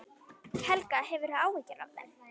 Helga: Hefurðu áhyggjur af þeim?